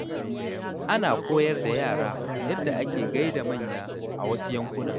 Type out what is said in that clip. Ana koyar da yara yadda ake gai da manya a wasu yankuna.